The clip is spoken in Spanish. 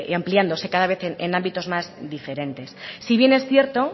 ampliándose cada vez en ámbitos más diferentes si bien es cierto